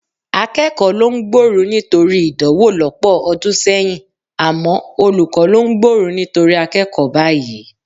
Akẹ́kọ̀ọ́ ló ń gbóru nítorí ìdánwò lọ́pọ̀ ọdún sẹ́yìn, àmọ́ olùkọ́ ló ń gbóru nítorí akẹ́kọ̀ọ́ báyìí